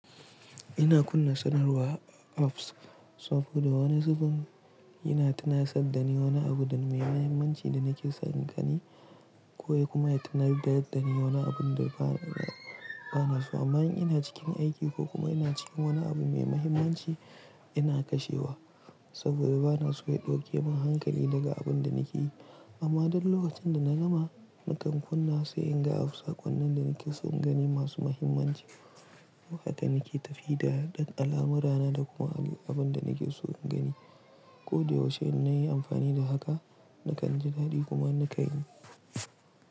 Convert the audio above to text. Ina kunna sanarwa apps saboda wani zubin yana tunasar dani wani abu mai muhimmanci da nake so in gani kokuma ya tunatar dani wani abun da bana so. Amma in ina cikin aiki ko kuma ina cikin wani abu mai mahimmanci ina kashewa saboda bana so ya ɗauke min hankali daga abun da nake yi. Amma duk lokacin da na gama nakan kunna sai in ga app sakonin da nake so in gani masu muhimmanci. Lokacin da nake tafiya da alamarana da kuma abun da nake so in gani. Ko da yaushe in nayi amfani da haka nakan ji dadi kuma nakan yi.